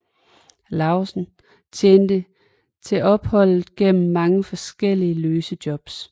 Lauesen tjente til opholdet gennem mange forskellige løse jobs